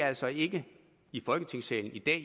altså ikke i folketingssalen i dag